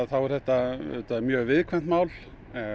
þá er þetta mjög viðkvæmt mál